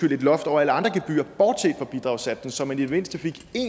loft over alle andre gebyrer end bidragssatsen så man i det mindste fik